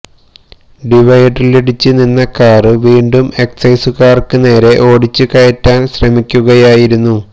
ഡിവൈഡറിലിടിച്ച് നിന്ന കാര് വീണ്ടും എക്സൈസുകാര്ക്ക് നേരെ ഓടിച്ച് കയറ്റാന് ശ്രമിക്കുകായിരുന്നു